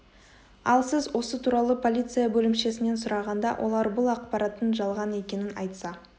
ал сіз осы туралы полиция бөлімшесінен сұрағанда олар бұл ақпараттың жалған екенін айтса